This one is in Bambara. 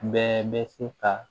Bɛɛ bɛ se ka